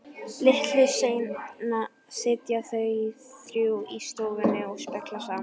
Litlu seinna sitja þau þrjú í stofunni og spjalla saman.